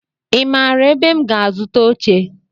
I maara ebe m ga-azuta oche?